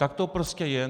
Tak to prostě je.